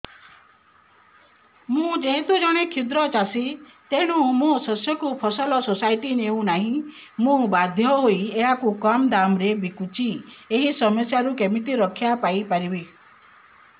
ମୁଁ ଯେହେତୁ ଜଣେ କ୍ଷୁଦ୍ର ଚାଷୀ ତେଣୁ ମୋ ଶସ୍ୟକୁ ଫସଲ ସୋସାଇଟି ନେଉ ନାହିଁ ମୁ ବାଧ୍ୟ ହୋଇ ଏହାକୁ କମ୍ ଦାମ୍ ରେ ବିକୁଛି ଏହି ସମସ୍ୟାରୁ କେମିତି ରକ୍ଷାପାଇ ପାରିବି